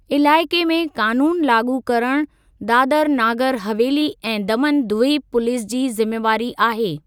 इलाइक़े में क़ानूनु लाॻू करणु दादर नागर हवेली ऐं दमन द्वीप पुलीस जी ज़िमेवारी आहे।